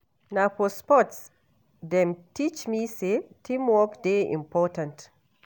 Na for sports dem teach me sey teamwork dey important.